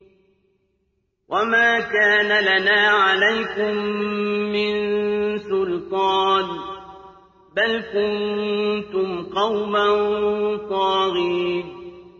وَمَا كَانَ لَنَا عَلَيْكُم مِّن سُلْطَانٍ ۖ بَلْ كُنتُمْ قَوْمًا طَاغِينَ